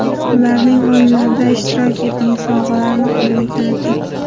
Ulaning, o‘yinlarda ishtirok eting, sovg‘alarni qo‘lga kiriting!